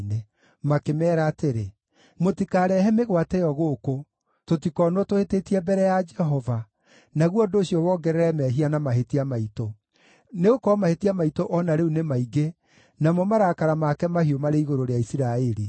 Makĩmeera atĩrĩ, “Mũtikarehe mĩgwate ĩyo gũkũ, tũtikoonwo tũhĩtĩtie mbere ya Jehova, naguo ũndũ ũcio wongerere mehia na mahĩtia maitũ. Nĩgũkorwo mahĩtia maitũ o na rĩu nĩ maingĩ, namo marakara make mahiũ marĩ igũrũ rĩa Isiraeli.”